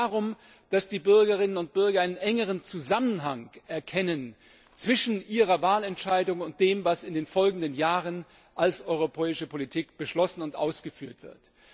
Es geht darum, dass die Bürgerinnen und Bürger einen engeren Zusammenhang erkennen zwischen ihrer Wahlentscheidung und dem, was in den folgenden Jahren als europäische Politik beschlossen und ausgeführt wird.